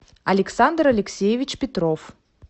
александр алексеевич петров